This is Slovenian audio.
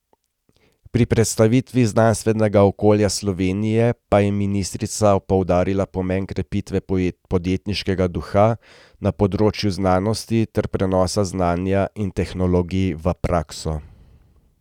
Pri predstavitvi znanstvenega okolja Slovenije pa je ministrica poudarila pomen krepitve podjetniškega duha na področju znanosti ter prenosa znanja in tehnologij v prakso.